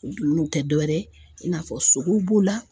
O dumunuw tɛ dɔwɛrɛ ye i n'a fɔ sogow b'o la